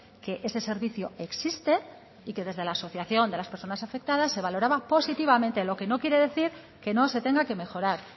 que ese servicio existe y que desde la asociación de las personas afectadas se valoraba positivamente lo que no quiere decir que no se tenga que mejorar